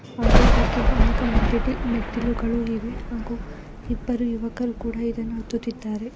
ಹಾಗು ಇದಕ್ಕೆ ಅನೇಕ ಮೆಟ್ಟಡ ಮೆಟ್ಟಿಲುಗಳು ಇವೆ ಹಾಗು ಇಬ್ಬರು ಯುವಕರು ಕೂಡ ಇದನ್ನ ಹತ್ತುತಿದ್ದಾರೆ.